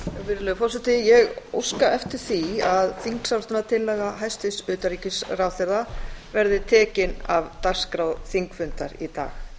virðulegur forseti ég óska eftir því að þingsályktunartillaga hæstvirts utanríkisráðherra verði tekin af dagskrá þingfundar í dag